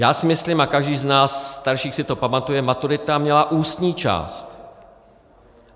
Já si myslím, a každý z nás starších si to pamatuje, maturita měla ústní část.